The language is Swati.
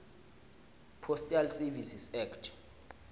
postal services act